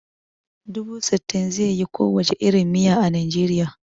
Dubu sittin zai yi ko wace irin miya a Nijeriya